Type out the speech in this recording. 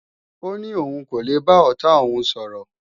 Ó ní òun kò lè bá ọ̀tá òun sọ̀rọ̀